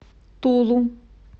тулу